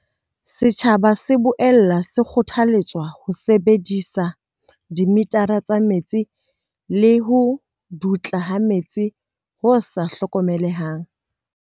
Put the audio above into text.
Setjhaba se boela se kgothaletswa ho sebedisa dimithara tsa metsi ho lekola ho dutla ha metsi ho sa hlokomelehang.